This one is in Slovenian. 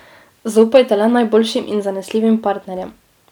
Zaupajte le najboljšim in zanesljivim partnerjem.